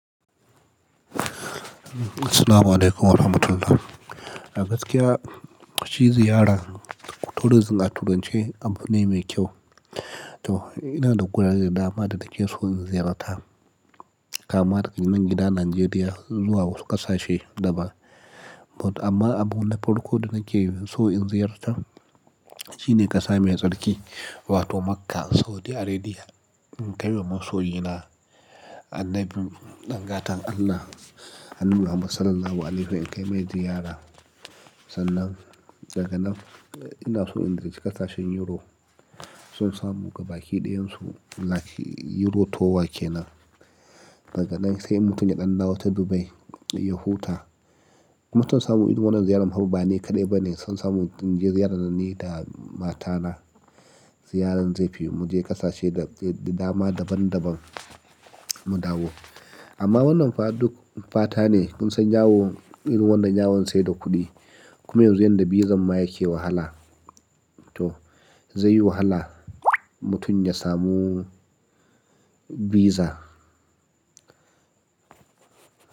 Assalamualaikum warahmatullah. A gaskiya, shi ziyara tourism a turanci abune me kyau. To ina da gurare da dama da nake so in ziyarta, kama daga nan gida Najeriya zuwa wasu ƙasashe daban. But amma abu na farko da nake so in ziyarta shi ne ƙasa mai tsarki wato Makkah Saudi Aredi. In kai wa masoyina annabi ɗan gatan Allah, annabi Muhammad sallallahu alaihi wasallam in kai mai ziyara. Sannan daga nan ina so in je ƙasashen Euro, son samu gabaƙi ɗayan su like Euro tour ke nan. Daga nan sai mutum ya ɗan dawo ta Dubai ya huta. Mutum samu irin wannan ziyarar fa ba ni kaɗai bane, son samu mutum ya je ziyaran nan ni da matana ziyarar zaofi, mu je ƙasashe da dama daban-daban mu dawo. Amma wannan fa duk fata ne, kun san yawo irin wannan yawon sai da kuɗi. Kuma yanzu yanda bizan ma yake wahala. To zai yi wahala mutum ya samu visa.